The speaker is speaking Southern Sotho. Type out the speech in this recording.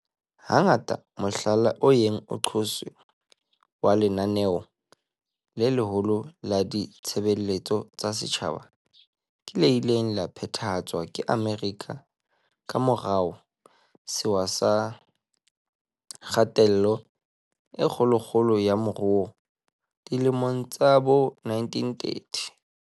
Hangata mohlala o yeng o qotswe wa lenaneo le leholo la ditshebeletso tsa setjhaba ke le ileng la phethahatswa ke Amerika ka morao Sewa sa Kgatello e Kgolokgolo ya Moruo dilemong tsa bo1930.